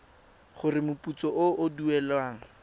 gore moputso o o duelwang